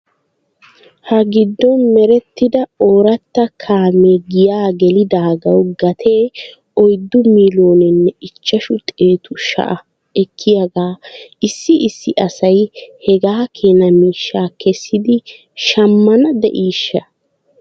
Ha giddon merettida ooratta kaamee giyaa gelidaagaw gatee oyddu miiloonenne ichchashu xeetu sha'a ekkiyaagaa issi issi asay hegaa keena miishshaa kessidi shammaw de'iishsha?